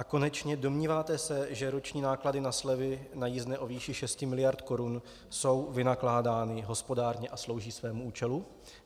A konečně, domníváte se, že roční náklady na slevy na jízdné o výši 6 miliard korun jsou vynakládány hospodárně a slouží svému účelu?